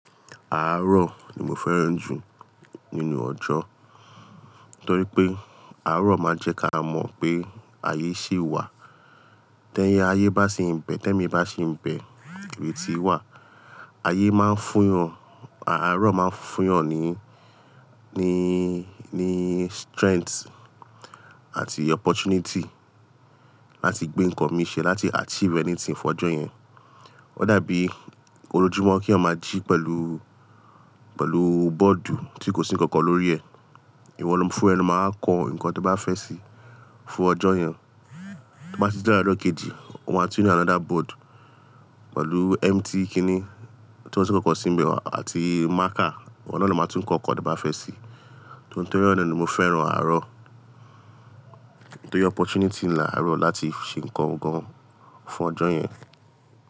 Àárọ̀ ni mo fẹ́ràn jù nínú ọjọ́, torí pé àárọ̀ máa ń jẹ́ ká mọ̀ pé ayé ṣì wà. Ti ayé bá ṣì ń bẹ́, tẹ́mi bá ṣì ń bẹ ìrètí wà. Ayé máa ń fún yan àárọ̀ máa ń fún yàn ní, ní, ní strength àti opportunity láti gbé nǹkan mi ṣe láti achieve anything fọ́jọ́ yẹn. Ó dàbí ojójúmọ́ kí eyan ma jí pẹ̀lú, pẹ̀lú bọ́ọ̀dù tí kò sí nǹkan kan lórí ẹ̀. Ìwọ fún ra ẹ lọ máa wa kọ nǹkan tí o bá fẹ́ ṣi fún ọjọ́ yẹn. Tí o bá tun ji láàárọ̀ ojo kejì, o máa tún rí another board pẹ̀lú empty kini ti ko sí nǹkan kan síbẹ̀ àti marker. Wọ́n náà ló máa tún kọ nǹkan tí o bá fẹ́ ṣe. Torí ẹ̀ na ni mo fẹ́ràn àárọ̀. Torí opportunity ni àárọ̀ láti ṣe nǹkan gan-an fún ọjọ́ yẹn.